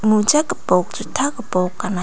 moja gipok juta gipok gana.